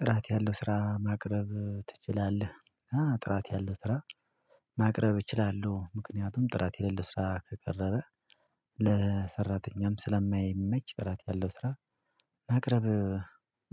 ጥራት ያለው ስራ ማቅረብ ትችላለህ? ጥራት ያለው ስራ ማቅረብ እችላለሁ ምክንያቱም ጥራት የሌለው ስራ ከቀረበ። ለሰራተኛም ስለማይመች ጥራት ያለው ስራ ማቅረብ